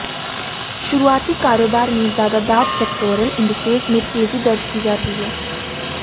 शुरुआती कारोबार में ज्यादात सेक्टोरल इंडिसेज में तेजी दर्ज की जा रही है